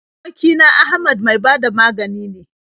Aboki na Ahmad mai ba da magani ne.